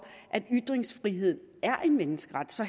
at ytringsfrihed er en menneskeret så